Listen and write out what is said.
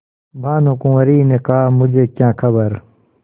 भानुकुँवरि ने कहामुझे क्या खबर